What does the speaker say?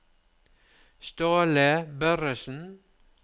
Ståle Børresen